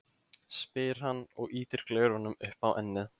spyr hann og ýtir gleraugunum upp á ennið.